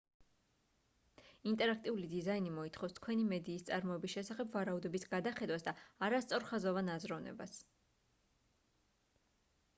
ინტერაქტიული დიზაინი მოითხოვს თქვენი მედიის წარმოების შესახებ ვარაუდების გადახედვას და არასწორხაზოვან აზროვნებას